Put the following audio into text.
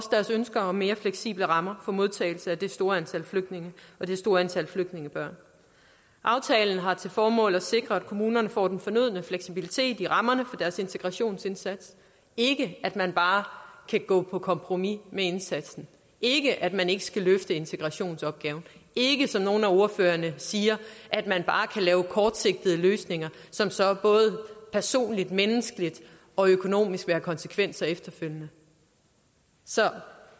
ønsker om mere fleksible rammer for modtagelse af det store antal flygtninge og det store antal flygtningebørn aftalen har til formål at sikre at kommunerne får den fornødne fleksibilitet i rammerne for deres integrationsindsats ikke at man bare kan gå på kompromis med indsatsen ikke at man ikke skal løfte integrationsopgaven ikke som nogle af ordførerne siger at man bare kan lave kortsigtede løsninger som så både personligt menneskeligt og økonomisk vil have konsekvenser efterfølgende så